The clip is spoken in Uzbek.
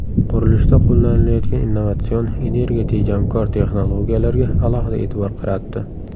Qurilishda qo‘llanilayotgan innovatsion, energiya tejamkor texnologiyalarga alohida e’tibor qaratdi.